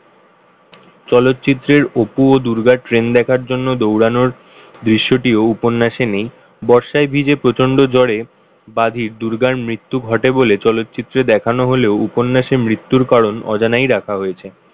চলচ্চিত্রের অপু ও দুর্গা train দেখার জন্য দৌড়ানোর দৃশ্যটি ও উপন্যাসে নেই। বর্ষায় ভিজে প্রচন্ড জ্বরে দুর্গার মৃত্যু ঘটে বলে চলচ্চিত্র দেখানো হলেও উপন্যাসে মৃত্যুর কারণ অজানায় রাখা হয়েছে।